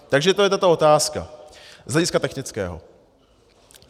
Takže to je tato otázka z hlediska technického.